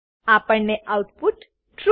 આપણને output true